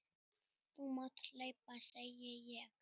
Þú mátt hlaupa, segi ég.